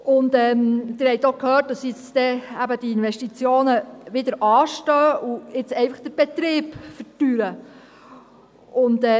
Sie haben gehört, dass die Investitionen wieder anstehen und jetzt den Betrieb verteuern.